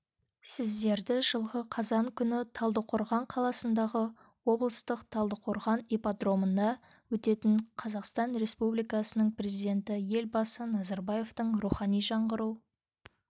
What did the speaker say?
сіздерді жылғы қазан күні талдықорғанқаласындағы облыстық талдықорған ипподромында өтетін қазақстан республикасының президенті елбасы назарбаевтың рухани жаңғыру